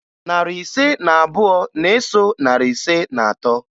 Narị ise na abụọ na-eso narị ise na atọ